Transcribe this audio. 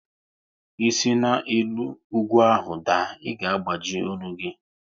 Ị si na elu ugwu ahụ daa, ị ga agbaji ọnụ gị!